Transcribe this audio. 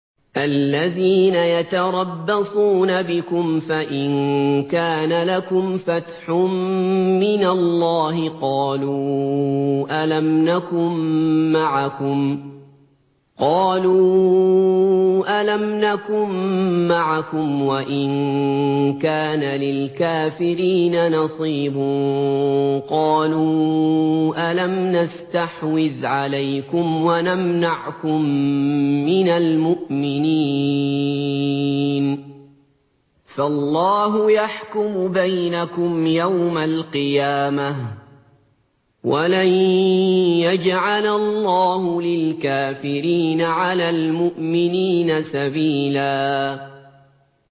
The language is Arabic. الَّذِينَ يَتَرَبَّصُونَ بِكُمْ فَإِن كَانَ لَكُمْ فَتْحٌ مِّنَ اللَّهِ قَالُوا أَلَمْ نَكُن مَّعَكُمْ وَإِن كَانَ لِلْكَافِرِينَ نَصِيبٌ قَالُوا أَلَمْ نَسْتَحْوِذْ عَلَيْكُمْ وَنَمْنَعْكُم مِّنَ الْمُؤْمِنِينَ ۚ فَاللَّهُ يَحْكُمُ بَيْنَكُمْ يَوْمَ الْقِيَامَةِ ۗ وَلَن يَجْعَلَ اللَّهُ لِلْكَافِرِينَ عَلَى الْمُؤْمِنِينَ سَبِيلًا